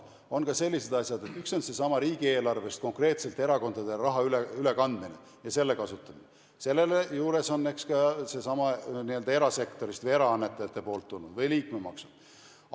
Need on ka sellised asjad nagu seesama riigieelarvest konkreetselt erakondadele raha ülekandmine ja selle kasutamine, selle juures on ka erasektorist või eraannetajatelt tulnud raha või ka liikmemaksud.